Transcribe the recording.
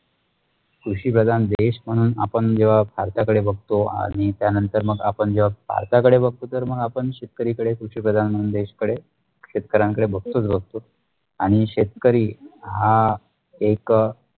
कृषिप्रदान देश म्णणून आपण ज्यो भारत्याकडे बगतो अणि त्यानंतर मग आपण जब भारत्याकडे बगतोतर मग आपण शेतकरीकडे कृषिप्रदान देशकडे आणि शेतकरी हा एक